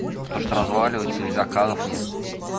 то что разваливается и заказов нет